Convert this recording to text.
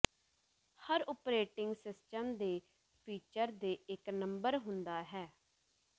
ਹਰ operating system ਦੇ feature ਦੇ ਇੱਕ ਨੰਬਰ ਹੁੰਦਾ ਹੈ